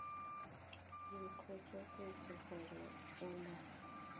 le kgotsofetse gore o na